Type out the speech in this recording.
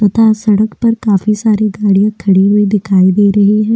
तथा सड़क पर काफी सारी गाड़ियां खड़ी हुई दिखाई दे रही है।